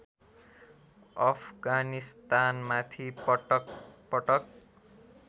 अफगानिस्तानमाथि पटकपटक